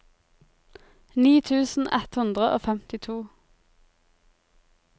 ni tusen ett hundre og femtito